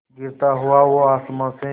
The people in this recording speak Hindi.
गिरता हुआ वो आसमां से